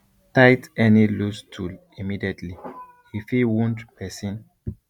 tight any loose tool immediately e fit wound person